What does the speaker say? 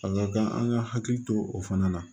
A ka kan an ka hakili to o fana na